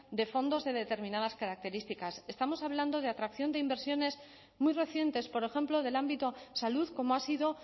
de fondos de determinadas características estamos hablando de atracción de inversiones muy recientes por ejemplo del ámbito salud como ha sido